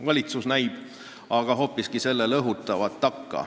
Valitsus näib aga hoopiski seda takka õhutavat.